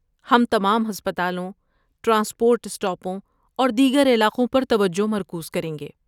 ہم تمام ہسپتالوں، ٹرانسپورٹ اسٹاپوں اور دیگر علاقوں پر توجہ مرکوز کریں گے۔